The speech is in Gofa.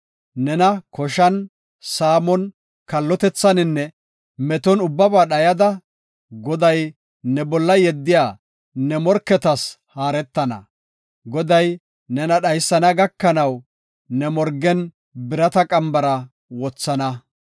nena koshan, saamon, kallotethaninne meton ubbaba dhayada, Goday ne bolla yeddiya ne morketas haaretana. Goday nena dhaysana gakanaw ne morgen birata qambara wothana.